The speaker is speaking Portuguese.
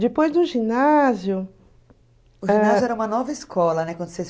Depois do ginásio... O ginásio era uma nova escola, né? (